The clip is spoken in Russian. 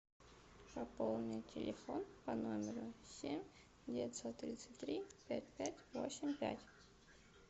пополни телефон по номеру семь девятьсот тридцать три пять пять восемь пять